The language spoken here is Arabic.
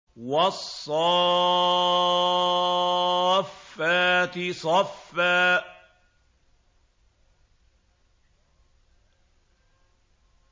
وَالصَّافَّاتِ صَفًّا